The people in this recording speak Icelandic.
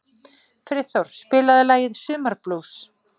Friðþór, spilaðu lagið „Sumarblús“.